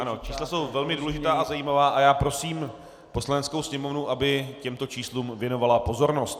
Ano, čísla jsou velmi důležitá a zajímavá a já prosím Poslaneckou sněmovnu, aby těmto číslům věnovala pozornost.